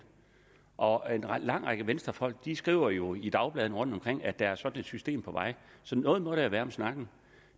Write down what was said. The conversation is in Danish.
og en lang række venstrefolk skriver jo i dagbladene rundtomkring at der er sådan et system på vej så noget må der jo være om snakken